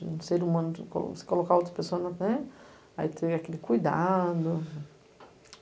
No ser humano, você coloca a outra pessoa né, aí tem aquele cuidado.